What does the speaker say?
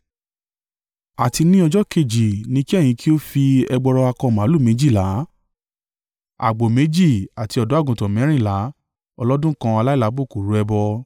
“ ‘Àti ní ọjọ́ kejì ni kí ẹ̀yin kí ó fi ẹgbọrọ akọ màlúù méjìlá, àgbò méjì àti ọ̀dọ́-àgùntàn mẹ́rìnlá ọlọ́dún kan aláìlábùkù rú ẹbọ.